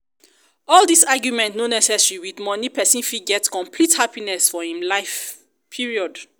all dis argument no necessary with money person fit get complete happiness for um life period!